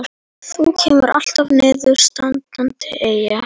Þú kemur alltaf niður standandi, Eyja.